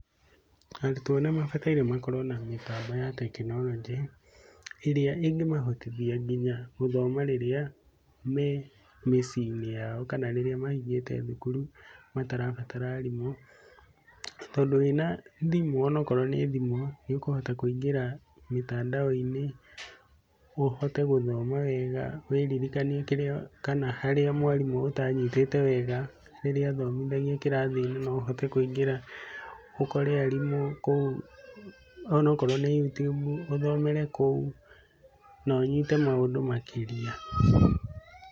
Arutwo nĩ mabataire makorwo na mĩtambo ya tekinorojĩ ĩrĩa ĩngĩmahotithia nginya gũthoma rĩrĩa, memĩciĩinĩ yao kana rĩrĩa mahingĩte thukuru matarabatara arimũ, tondũ wĩna thimũ onawakorwo nĩ thimũ nĩũkũhota kwĩingĩra mĩtandaoinĩ ũhote gũthoma wega wĩririkanie kĩrĩa kana harĩa mwarĩmũ ũtanyitĩte wega rĩrĩa athomithagia kĩrathinĩ no ũhote kũingĩra ũkore arimũ kũu ũnawakorwo nĩ Youtube ũthomere kũu na ũnyite maũndũ makĩria.